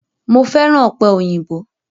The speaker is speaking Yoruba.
Mo fẹ́ràn ọ̀pẹ̀ òyìnbó